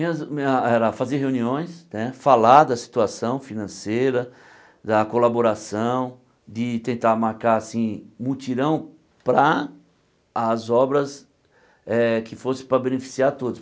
Minhas me ah era fazer reuniões né, falar da situação financeira, da colaboração, de tentar marcar assim mutirão para as obras eh que fossem para beneficiar a todos.